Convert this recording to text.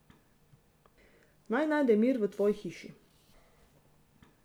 Naj najde mir v tvoji hiši.